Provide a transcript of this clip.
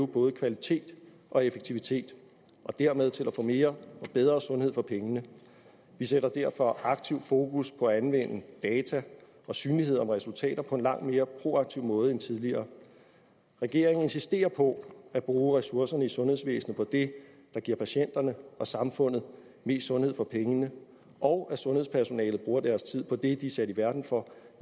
både kvalitet og effektivitet og dermed til at få mere og bedre sundhed for pengene vi sætter derfor aktivt fokus på at anvende data og synlighed om resultater på en langt mere proaktiv måde end tidligere regeringen insisterer på at bruge ressourcerne i sundhedsvæsenet på det der giver patienterne og samfundet mest sundhed for pengene og at sundhedspersonalet bruger deres tid på det de er sat i verden for